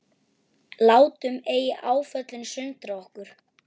Látum ei áföllin sundra okkur.